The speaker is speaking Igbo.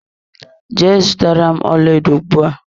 Jee zụtara m ọlaedo ugbua!